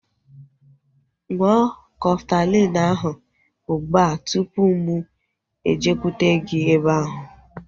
Ṅụọ Kọftalin ahu ụgbụa tụpụ mụ ejekwute gị ebe ahu